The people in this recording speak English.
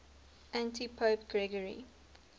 antipope gregory